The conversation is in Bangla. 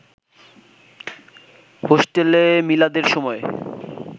হোস্টেলে মিলাদের সময়